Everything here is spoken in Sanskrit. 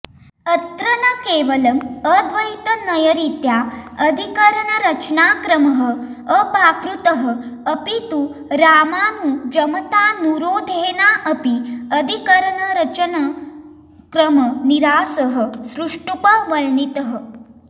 अत्र न केवलम् अद्वैतनयरीत्या अधिकरणरचनाक्रमः अपाकृतः अपि तु रामानुजमतानुरोधेनाऽपि अधिकरणरचनक्रमनिरासः सुष्ठूपवर्णितः